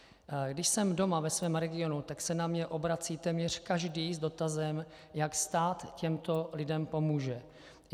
Když jsem doma ve svém regionu, tak se na mě obrací téměř každý s dotazem, jak stát těmto lidem pomůže.